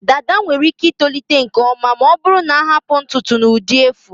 Dada nwere ike itolite nke ọma ma ọ bụrụ na ahapụ ntutu n'ụdị efu.